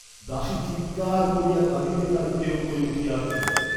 দাসী চীৎকার করিয়া কাঁদিতে কাঁদিতে উপরে উঠিয়া আসিল।